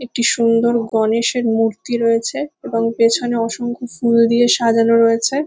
একটি সুন্দর গণেশের মূর্তি রয়েছে এবং পেছনে অসংখ্য ফুল দিয়ে সাজানো রয়েছে।